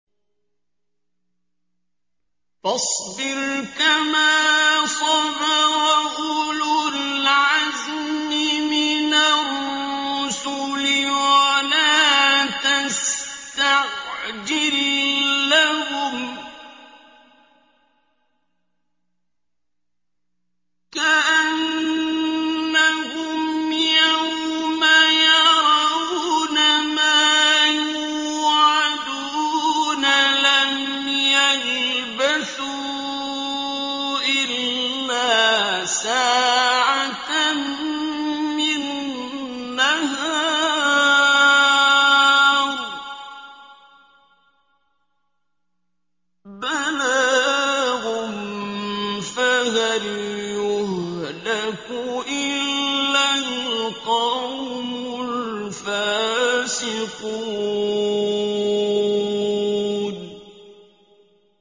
فَاصْبِرْ كَمَا صَبَرَ أُولُو الْعَزْمِ مِنَ الرُّسُلِ وَلَا تَسْتَعْجِل لَّهُمْ ۚ كَأَنَّهُمْ يَوْمَ يَرَوْنَ مَا يُوعَدُونَ لَمْ يَلْبَثُوا إِلَّا سَاعَةً مِّن نَّهَارٍ ۚ بَلَاغٌ ۚ فَهَلْ يُهْلَكُ إِلَّا الْقَوْمُ الْفَاسِقُونَ